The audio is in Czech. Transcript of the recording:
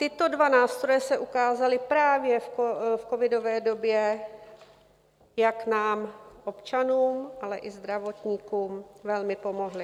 Tyto dva nástroje se ukázaly právě v covidové době, jak nám občanům, ale i zdravotníkům velmi pomohly.